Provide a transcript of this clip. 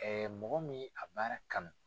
mɔgɔ min ye a baara kanu.